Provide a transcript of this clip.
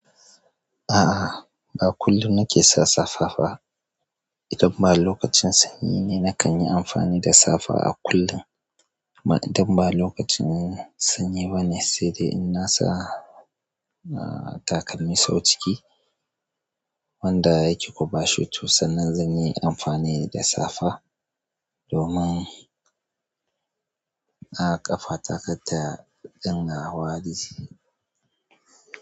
A'a ba kullum na ke sa safa ba, idan ba lokacin sanyi ne na kan yi amfani da safa a kullum ma idan ba lokacin sanyi ba ne, sai dai in na sa, ah, takalmi sau ciki wanda yake kwaɓa shoe to sannan zan yi amfani da safa domin, ah ƙafa ta kar ta dinga hawa dishi.